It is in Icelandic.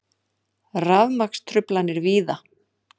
Rafmagnstruflanir víða